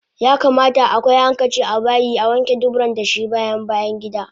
Yakamata akwai hankici abayi Awanke dubura dashi bayan bayangida